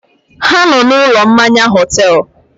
Ha nọ na ụlọ mmanya họtel